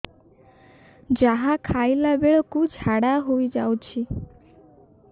ଯାହା ଖାଇଲା ବେଳକୁ ଝାଡ଼ା ହୋଇ ଯାଉଛି